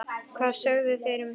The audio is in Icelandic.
Hvað sögðu þeir um þetta?